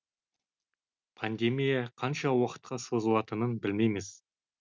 пандемия қанша уақытқа созылатынын білмейміз